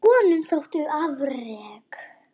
Honum þóttu afrek